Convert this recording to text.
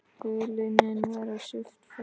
Hulunni hafði verið svipt frá.